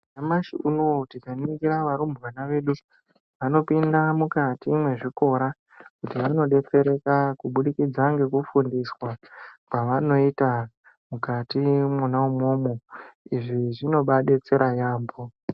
Nyamashi unowu tikaningira varumbwana vedu vanopinda mukati mwezvikora vanodetsereka kuburikidza ngekufundiswa Kwavanoita mukati Mona imomo izvi zvinobadetsera yambo.